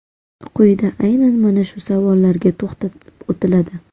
Quyida aynan mana shu savollarga to‘xtalib o‘tiladi .